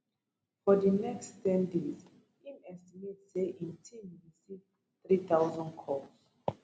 for di next ten days im estimate say team receive thirty thousand calls